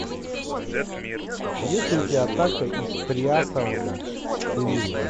есть ли у тебя атака из триасового периода